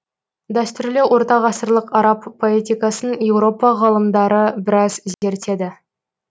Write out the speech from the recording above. дәстүрлі ортағасырлық араб поэтикасын еуропа ғалымдары біраз зерттеді